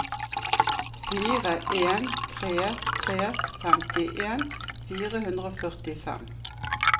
fire en tre tre femtien fire hundre og førtifem